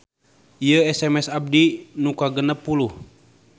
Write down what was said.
Ieu SMS abdi nu kagenep puluh